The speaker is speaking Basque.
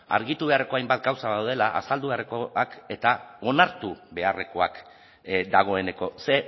argitu beharreko hainbat gauza badaudela azaldu beharrekoak eta onartu beharrekoak dagoeneko ze